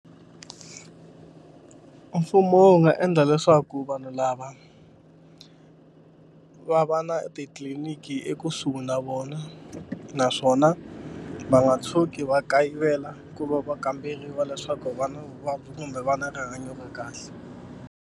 Mfumo wu nga endla leswaku vanhu lava va va na titliliniki ekusuhi na vona naswona va nga tshuki va kayivela ku va va kamberiwa leswaku va na vuvabyi kumbe va na rihanyo ra kahle.